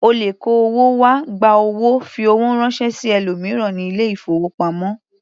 O lè kó owó wá, gba owó, fi owó ránṣẹ́ sí ẹlòmíràn ní ilé-ìfowópamọ́.